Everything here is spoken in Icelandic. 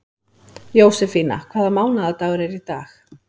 Jósefína, hvaða mánaðardagur er í dag?